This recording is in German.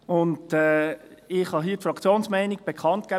Ich kann hier die Fraktionsmeinung bekannt geben: